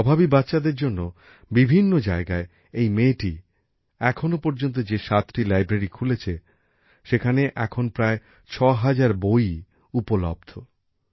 অভাবী বাচ্চাদের জন্য বিভিন্ন জায়গায় এই মেয়েটি এখনো পর্যন্ত যে সাতটা লাইব্রেরী খুলেছে সেখানে এখন প্রায় ছ হাজার বই পাওয়া যায়